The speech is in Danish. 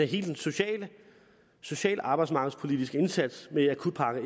hele den sociale sociale og arbejdsmarkedspolitiske indsats med akutpakke